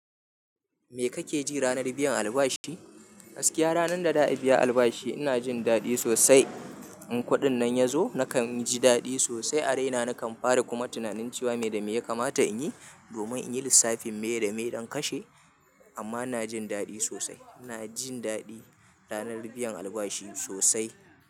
Me kake ji ranar biyan albashi? Gaskiya, ranar da da'a biya albashi ina jin daɗi sosai. In kuɗin nan ya zo nakan ji daɗi sosai a raina. Nakan fara kuma tunanin cewa me dame ya kamata in yi domin in yi lissafin me da me don kashe. Amma ina jin daɗi sosai. Ina jin daɗi ranar biyan albashi sosai.